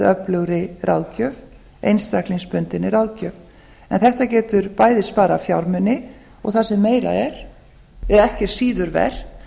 öflugri ráðgjöf einstaklingsbundinni ráðgjöf en þetta getur bæði sparað fjármuni og það sem meira er er ekki síður vert